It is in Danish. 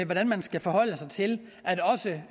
hvordan man skal forholde sig til at også